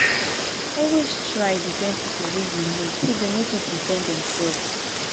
always try defend pipo wey you know say dem no fit defend dimselves